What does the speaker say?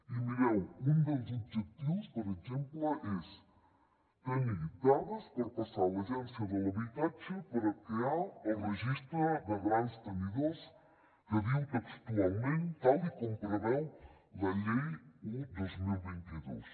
i mireu un dels objectius per exemple és tenir dades per passar a l’agència de l’habitatge per a crear el registre de grans tenidors que diu textualment tal com preveu la llei un dos mil vint dos